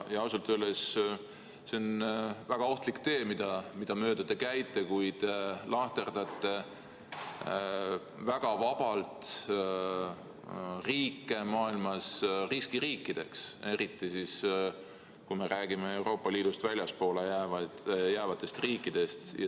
Ausalt öeldes on see väga ohtlik tee, mida mööda te käite, kui lahterdate väga vabalt riike maailmas riskiriikideks, eriti siis, kui me räägime Euroopa Liidust väljapoole jäävatest riikidest.